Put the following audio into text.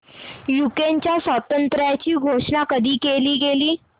युक्रेनच्या स्वातंत्र्याची घोषणा कधी केली गेली